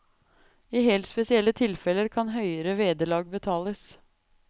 I helt spesielle tilfelle kan høyere vederlag betales.